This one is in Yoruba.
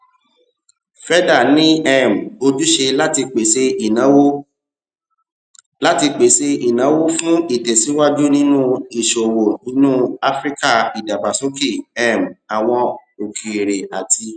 feda ní um ojúṣe láti pèsè ìnáwó láti pèsè ìnáwó fún ìtèsíwájú nínú ìṣòwò inú áfíríkà ìdàgbàsókè um àwọn okeere àti